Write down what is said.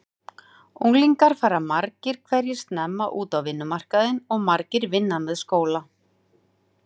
Unglingar fara margir hverjir snemma út á vinnumarkaðinn og margir vinna með skóla.